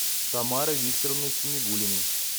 тамарой викторовной самигуллиной